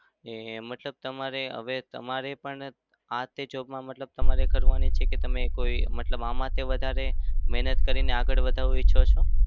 ને મતલબ તમારે હવે તમારે પણ આ તે job માં મતલબ તમારે કરવાની છે કે તમે કોઈ મતલબ આનાથી વધારે મહેનત કરીને આગળ વધવા ઈચ્છો છો?